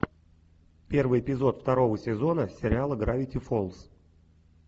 первый эпизод второго сезона сериала гравити фолз